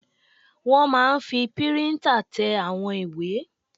Wọ́n máa n fi píríntà tẹ àwọn ìwé